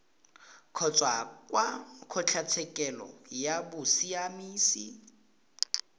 kgotsa kwa kgotlatshekelo ya bosiamisi